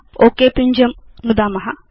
okay पिञ्जं नुदाम